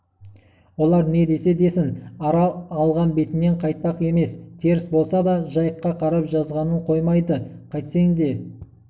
олар не десе десін арал алған бетінен қайтпақ емес теріс болса да жайыққа қарап жазғанын қоймайды қайтсең де